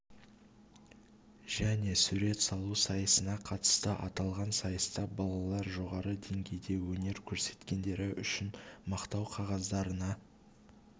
және сурет салу сайысына қатысты аталған сайыста балалар жоғары деңгейде өнер көрсеткендері үшін мақтау қағаздарына